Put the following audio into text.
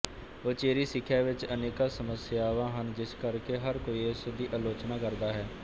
ਉਚੇਰੀ ਸਿੱਖਿਆ ਵਿੱਚ ਅਨੇਕਾਂ ਸਮੱਸਿਆਵਾਂ ਹਨ ਜਿਸ ਕਰਕੇ ਹਰ ਕੋਈ ਇਸ ਦੀ ਆਲੋਚਨਾ ਕਰਦਾ ਹੈ